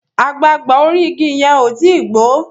àgbagbà orí ìgi yén o tí gbó